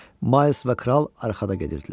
Mayls və kral arxada gedirdilər.